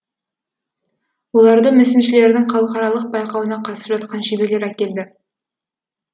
оларды мүсіншілердің халықаралық байқауына қатысып жатқан шеберлер әкелді